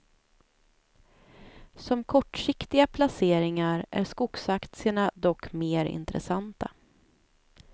Som kortsiktiga placeringar är skogsaktierna dock mer intressanta.